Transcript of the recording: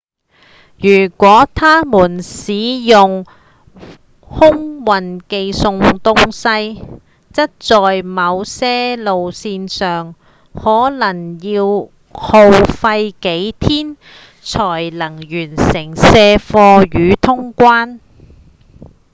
如果他們使用空運寄送東西則在某些路線上可能要耗費幾天才能完成卸貨與通關